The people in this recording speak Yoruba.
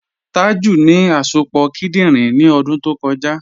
Tàjú ní àsọpọ̀ kìdìnrín ní ọ̀dún tó kọ̀jà.